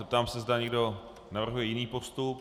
Zeptám se, zda někdo navrhuje jiný postup.